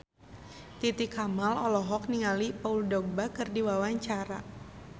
Titi Kamal olohok ningali Paul Dogba keur diwawancara